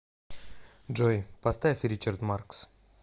джой поставь ричард маркс